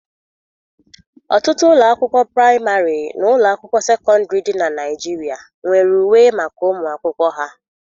Ọtụtụ ụlọ akwụkwọ praịmarị na ụlọ akwụkwọ sekọndrị dị na Naịjiria nwere uwe maka ụmụ akwụkwọ ha